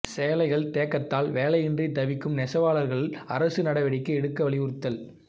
சேலைகள் தேக்கத்தால் வேலையின்றி தவிக்கும் நெசவாளர்கள் அரசு நடவடிக்கை எடுக்க வலியுறுத்தல்